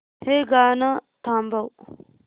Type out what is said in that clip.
हे गाणं थांबव